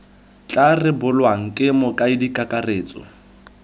tla rebolwang ke mokaedi kakaretso